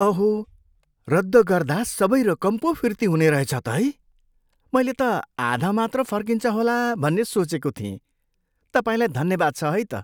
अहो! रद्द गर्दा सबै रकम पो फिर्ती हुने रहेछ त है? मैले त आधा मात्र फर्किन्छ होला भन्ने सोचेको थिएँ। तपाईँलाई धन्यवाद छ है त!